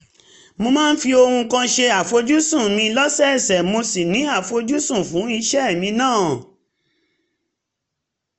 mo máa ń fi ohun kan ṣe àfojúsùn mi lọ́sọ̀ọ̀sẹ̀ mo sì ní àfojúsùn fún iṣẹ́ mi náà